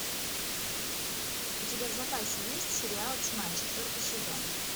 у тебя в запасе есть сериал тьма четвертый сезон